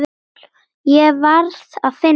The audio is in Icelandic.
Ég varð að finna hann.